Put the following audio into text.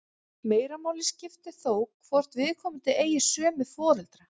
Meira máli skiptir þó hvort viðkomandi eigi sömu foreldra.